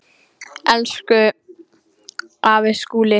Elsku afi Skúli.